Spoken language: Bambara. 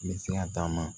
N bɛ se ka taama